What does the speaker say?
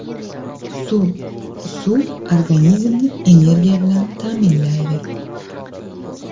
Suv Suv organizmni energiya bilan ta’minlaydi.